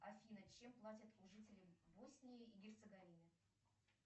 афина чем платят жителям боснии и герцеговины